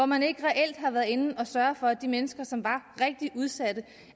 man ikke reelt har været inde og sørge for at de mennesker som var rigtig udsatte